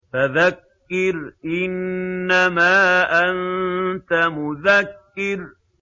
فَذَكِّرْ إِنَّمَا أَنتَ مُذَكِّرٌ